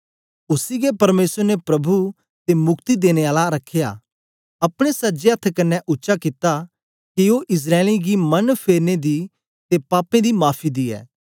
उसी गै परमेसर ने प्रभु ते मुक्ति देने आला रखया अपने सज्जे अथ्थ कन्ने उच्चा कित्ता के ओ इस्राएलियें गी मन फेरने दी ते पापें दी माफी दियें